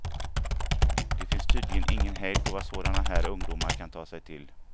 Det finns tydligen ingen hejd på vad sådana här ungdomar kan ta sig till.